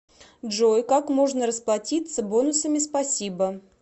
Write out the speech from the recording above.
джой как можно расплатиться бонусами спасибо